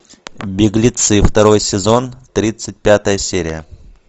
беглецы второй сезон тридцать пятая серия